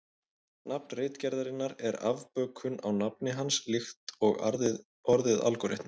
Nafn ritgerðarinnar er afbökun á nafni hans líkt og orðið algóritmi.